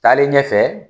Taalen ɲɛfɛ